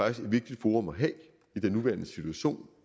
et vigtigt forum at have i den nuværende situation